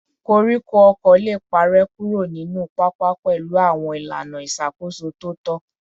Koríko ọ̀kọ̀ lè parẹ́ kúrò nínú pápá pẹ̀lú àwọn ìlànà ìṣàkóso tó tọ́